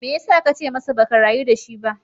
Me ya sa ka ce masa ba ka rayu da shi ba?